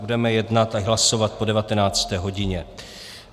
Budeme jednat a hlasovat po 19. hodině.